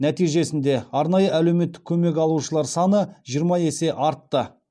нәтижесінде арнайы әлеуметтік көмек алушылар саны жиырма есе артты